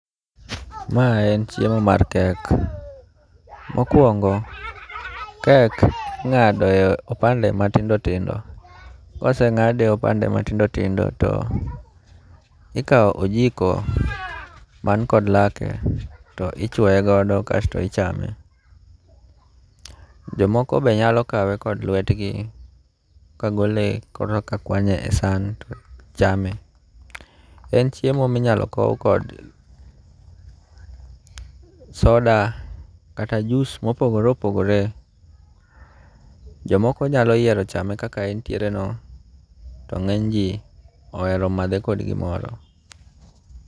Ma en chiemo mar kek. Mokuongo kek ing'ado e opande matindo tindo. Koseng'ade opande matindo tindo to ikaw ojiko man kod lake to ichuoe godo kast ichame. Jomoko bende nyalo kawe kod lwetgi kagole koro ka kwanye e san to chame. En chiemo minyalo kow kod soda kata jus mopogore opogore. Jomoko nyalo yiero chame kaka entiere no. To ng'eny ji ohero madhe kod gimoro.